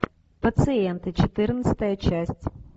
пациенты четырнадцатая часть